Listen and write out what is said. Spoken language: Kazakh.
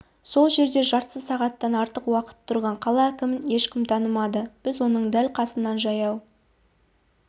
сол жерде жарты сағаттан артық уақыт тұрған қала әкімін ешкім танымады біз оның дәл қасынан жаяу